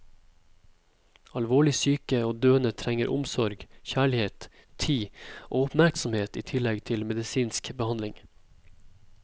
Alvorlig syke og døende trenger omsorg, kjærlighet, tid og oppmerksomhet i tillegg til medisinsk behandling.